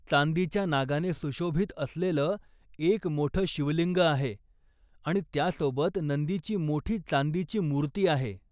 चांदीच्या नागाने सुशोभित असलेलं एक मोठे शिवलिंग आहे आणि त्यासोबत नंदीची मोठी चांदीची मूर्ती आहे.